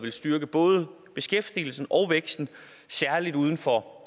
vil styrke både beskæftigelsen og væksten særlig uden for